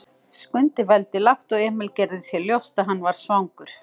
Skundi vældi lágt og Emil gerði sér ljóst að hann var svangur.